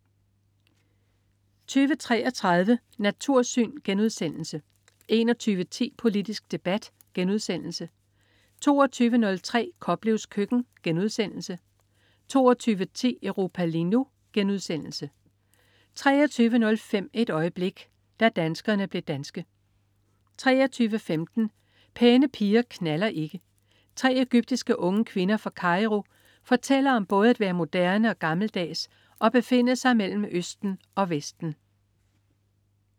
20.33 Natursyn* 21.10 Politisk debat* 22.03 Koplevs køkken* 22.10 Europa lige nu* 23.05 Et øjeblik. Da danskerne blev danske 23.15 Pæne piger knalder ikke. 3 egyptiske unge kvinder fra Cairo fortæller om både at være moderne og gammeldags og befinde sig mellem østen og vesten